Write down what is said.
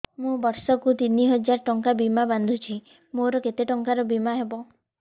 ମୁ ବର୍ଷ କୁ ତିନି ହଜାର ଟଙ୍କା ବୀମା ବାନ୍ଧୁଛି ମୋର କେତେ ଟଙ୍କାର ବୀମା ହବ